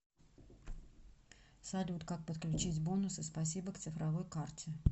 салют как подключить бонусы спасибо к цифровой карте